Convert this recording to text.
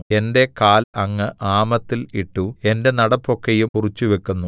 എന്റെ കാൽ അങ്ങ് ആമത്തിൽ ഇട്ടു എന്റെ നടപ്പൊക്കെയും കുറിച്ചുവെക്കുന്നു എന്റെ കാലടികളുടെ ചുറ്റും വര വരയ്ക്കുന്നു